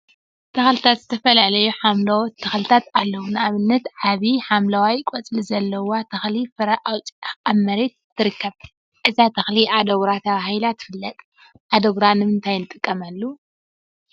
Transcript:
ተክሊታት ዝተፈላለዩ ሓምለዎት ተክሊታት አለው፡፡ ንአብነት ዓብይ ሓምለዋይ ቆፅሊ ዘለዋ ተክሊ ፍረ አውፂአ አብ መሬት ትርከብ፡፡ እዛ ተክሊ አደጉራ ተባሂላ ትፍለጥ፡፡ አደጉራ ንምንታይ ንጥቀመሉ?